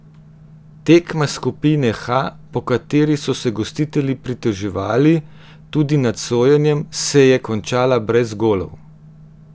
Tekma skupine H, po kateri so se gostitelji pritoževali tudi nad sojenjem, se je končala brez golov.